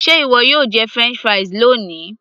ṣé ìwọ yóò jẹ french fries loni